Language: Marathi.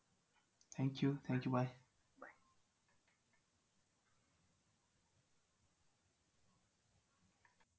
Thank you thank you bye